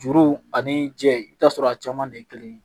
Juru ani jɛ i bɛ t'a sɔrɔ a caman de ye kelen ye